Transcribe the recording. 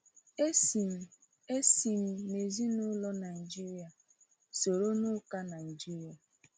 E si m E si m n’ezinụlọ Nigeria, soro n’Ụka Nigeria.